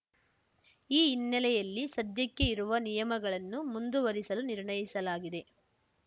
ಈ ಹಿನ್ನೆಲೆಯಲ್ಲಿ ಸದ್ಯಕ್ಕೆ ಇರುವ ನಿಯಮಗಳನ್ನು ಮುಂದುವರಿಸಲು ನಿರ್ಣಯಿಸಲಾಗಿದೆ